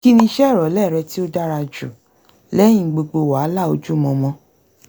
kí ni ìṣe ìrọ̀lẹ́ rẹ tí ó dára jù lẹ́yìn gbogbo wàhálà ojúmọmọ?